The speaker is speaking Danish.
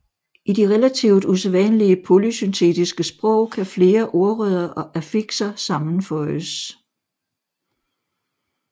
I de relativt usædvanlige polysyntetiske sprog kan flere ordrødder og affixer sammenføjes